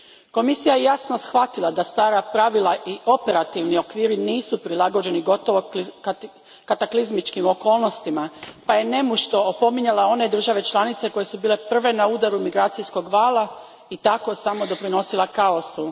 Komisija je jasno shvatila da stara pravila i operativni okviri nisu prilagođeni gotovo kataklizmičkim okolnostima pa je nemušto opominjala one države članice koje su bile prve na udaru migracijskog vala i tako samo doprinosila kaosu.